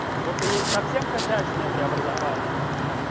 потому что есть совсем косячные преобразования